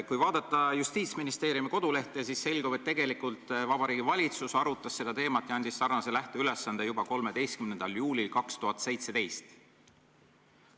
Kui vaadata Justiitsministeeriumi kodulehte, siis selgub, et tegelikult Vabariigi Valitsus arutas seda teemat ja andis sellise lähteülesande juba 13. juulil 2017.